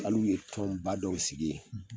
Al'uye tɔnba dɔw sigi ye